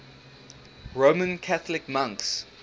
roman catholic monks